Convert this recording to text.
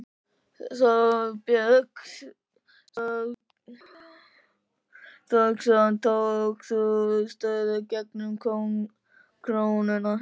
Þorbjörn Þórðarson: Tókst þú stöðu gegn krónunni?